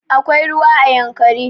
Akwai ruwa a yankari